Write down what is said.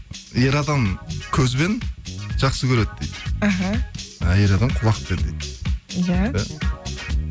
ер адам көзбен жақсы көреді дейді іхі әйел адам құлақпен дейді иә